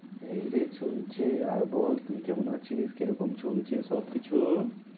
এইরে চলছে আর বল তুই কেমন আছিস? কিরকম চলছে সবকিছু?